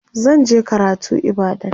zan je karatu ibadan